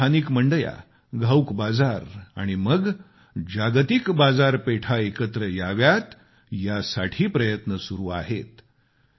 गावातल्या स्थानिक मंड्या घाऊक बाजार आणि मग जागतिक बाजारपेठ एकत्र याव्यात यासाठी प्रयत्न सुरु आहेत